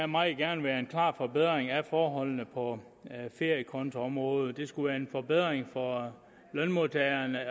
meget gerne være en klar forbedring af forholdene på feriekontoområdet det skulle være en forbedring for lønmodtagerne